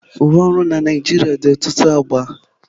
Uwe ọrụ na Naịjirịa dị ọtụtụ agba.